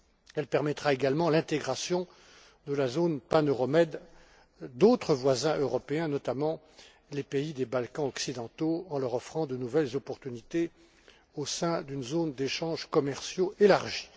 Elle permettra également l'intégration à la zone pan euro med d'autres voisins européens, notamment les pays des Balkans occidentaux en leur offrant de nouvelles opportunités au sein d'une zone d'échanges commerciaux élargie.